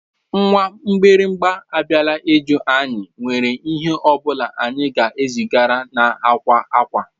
Nwa mgbịrịgba abịalarị ịjụ anyị nwere ihe ọ bụla anyị ga-ezigara na akwa akwa.